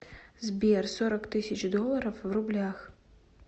сбер сорок тысяч долларов в рублях